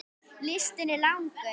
Listinn er langur.